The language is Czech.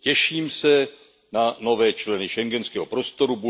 Těším se na nové členy schengenského prostoru.